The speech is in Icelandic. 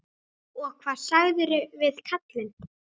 Og hvað sagðirðu við kallinn?